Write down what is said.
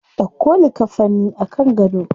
Dauko likkafanin a kan gado.